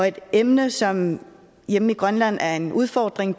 et emne som hjemme i grønland er en udfordring